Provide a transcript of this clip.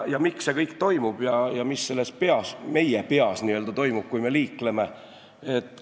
Miks see kõik toimub ja mis meie peas toimub, kui me liikleme?